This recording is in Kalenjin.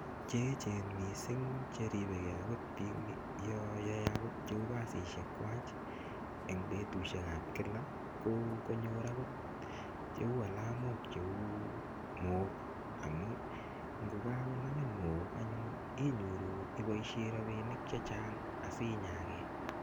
Che echen mising cheribeke akot yoon yoe cheu kasishekwak en betushekab kila ko konyor anyun cheu alamok cheu mook, amun ngo kakonamin mook anyun inyoru iboishen rabinik chechang asinyake.